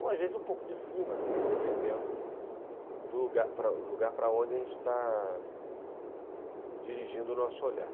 Ou, às vezes, um pouco de cima também, dependendo do lugar para onde a gente está dirigindo o nosso olhar.